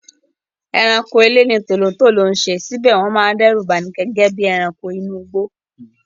Ẹranko ilé ni tòlótòtó ń ṣe síbẹ̀ wọ́n máa ń dẹ́rù bani gẹ́gẹ́ bí àwọn ẹranko inú igbó.